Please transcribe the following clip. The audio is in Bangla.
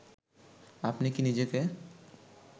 আপনি কী নিজেকে